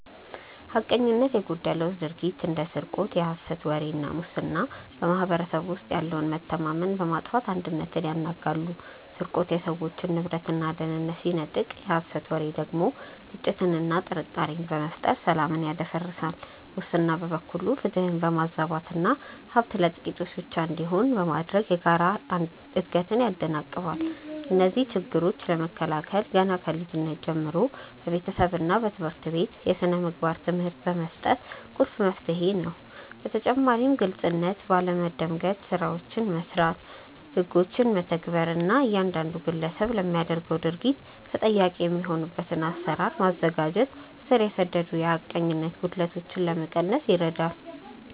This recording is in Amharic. ሐቀኝነት የጎደለው ድርጊት እንደ ስርቆት፣ የሐሰት ወሬ እና ሙስና በማኅበረሰቡ ውስጥ ያለውን መተማመን በማጥፋት አንድነትን ያናጋሉ። ስርቆት የሰዎችን ንብረትና ደህንነት ሲነጥቅ፣ የሐሰት ወሬ ደግሞ ግጭትንና ጥርጣሬን በመፍጠር ሰላምን ያደፈርሳል። ሙስና በበኩሉ ፍትህን በማዛባትና ሀብት ለጥቂቶች ብቻ እንዲሆን በማድረግ የጋራ እድገትን ያደናቅፋል። እነዚህን ችግሮች ለመከላከል ገና ከልጅነት ጀምሮ በቤተሰብና በትምህርት ቤት የሥነ ምግባር ትምህርት መስጠት ቁልፍ መፍትሄ ነው። በተጨማሪም ግልጽነት ባለ መንደምገድ ስራዎችን መስራት፣ ህጎችን መተግበር እና እያንዳንዱ ግለሰብ ለሚያደርገው ድርጊት ተጠያቂ የሚሆንበትን አሰራር ማዘጋጀት ስር የሰደዱ የሐቀኝነት ጉድለቶችን ለመቀነስ ይረዳል።